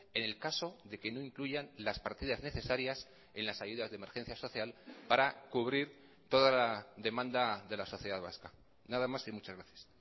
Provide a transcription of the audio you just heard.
en el caso de que no incluyan las partidas necesarias en las ayudas de emergencia social para cubrir toda la demanda de la sociedad vasca nada más y muchas gracias